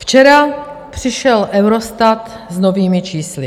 Včera přišel Eurostat s novými čísly.